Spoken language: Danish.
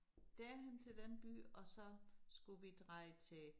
Derhen til den by og så skulle vi dreje til